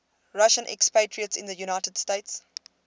russian expatriates in the united states